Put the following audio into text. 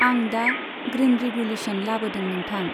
आं दा green revolution लाबोदों नोंथां।